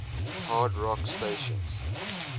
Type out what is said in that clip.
hard rock stations